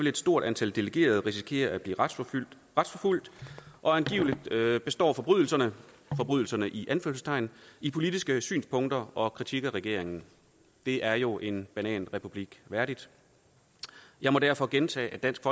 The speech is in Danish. et stort antal delegerede risikere at blive retsforfulgt og angiveligt består forbrydelserne i anførselstegn i politiske synspunkter og kritik af regeringen det er jo en bananrepublik værdigt jeg må derfor gentage at dansk